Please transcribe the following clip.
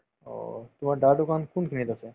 অ, তোমাৰ দাদাৰ দোকান কোনখিনিত আছে ?